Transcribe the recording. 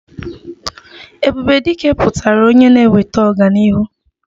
Ebube Dike pụtara onye na-eweta ọganihu